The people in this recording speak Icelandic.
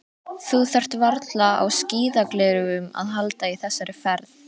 Þú þarft varla á skíðagleraugum að halda í þessari ferð.